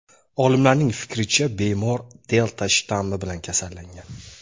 Olimlarning fikricha, bemor "delta" shtammi bilan kasallangan.